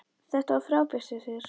Þetta var frábært hjá þér!